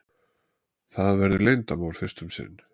Það verður leyndarmál fyrst um sinn.